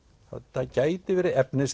það gæti verið